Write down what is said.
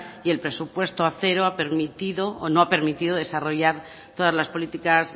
y el presupuesto a cero ha permitido o no ha permitido desarrollar todas las políticas